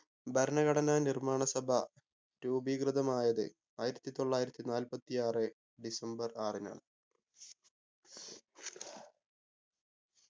ഭരണഘടനാ നിർമ്മാണ സഭ രൂപീകൃതമായത് ആയിരത്തി തൊള്ളായിരത്തി നാല്പത്തി ആറ് ഡിസംബർ ആറിനാണ്